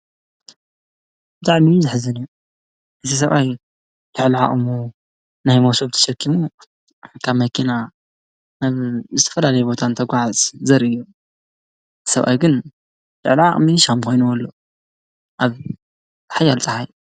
ብጣዕሚ እዩ ዘሕዝን። እዚ ሰብኣይ ልዕሊ ዓቕሙ ናይ ሞሶብ ተሸኪሙ እታ መኪና ዝተፈላለየ ቦታ እንትጉዓዝ ዘርኢ እዩ ሰብኣይ ግን ልዕሊ ዓቕሚ ሽክሚ ኮይንዎ ኣሎ። አብ ሓያል ፀሓይ።